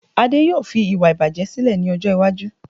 Ade yóò fi iwa ibaje sílè ní ọjọ́ iwájú